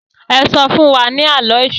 e so fún wá ní Àló̩ Èṣù